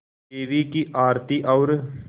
देवी की आरती और